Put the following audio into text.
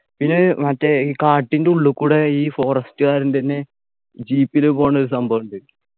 പിന്നെ മറ്റേ ഈ കാട്ടിന്റുള്ള് കൂടെ ഈ forest കാരൻ തന്നെ jeep ൽ പോണ ഒരു സംഭവുണ്ട്